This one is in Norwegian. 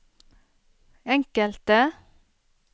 enkelte